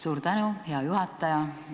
Suur tänu, hea juhataja!